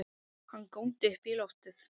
Hann góndi upp í loftið!